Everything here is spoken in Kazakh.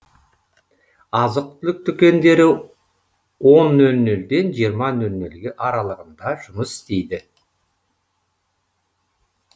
азық түлік дүкендері он нөл нөлден жиырма нөл нөл аралығында жұмыс істейді